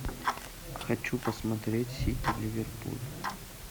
хочу посмотреть сити ливерпуль